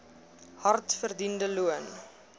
hard verdiende loon